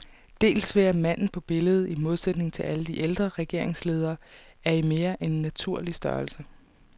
Dels ved at manden på billedet, i modsætning til alle de ældre regeringsledere, er i mere end naturlig størrelse.